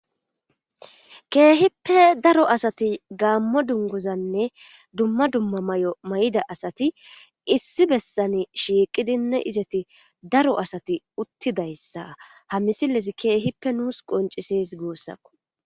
keehippe daro asati gaammo dungozanne dumma dumma may7o may7ida asati issi bessane shiiqidinne izati daro asati uttidayssa ha misilesi keehippe nuus qoncises goossakko